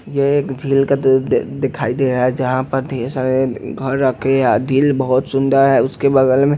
ये एक झील का तो दिखाई दे रहा है जहाँ पर ढेर सारे घर रखे झील बहुत सुंदर है उसके बगल में.--